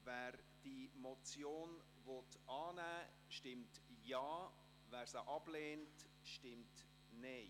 Wer die Motion annehmen will, stimmt Ja, wer diese ablehnt, stimmt Nein.